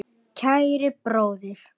Kæri bróðir!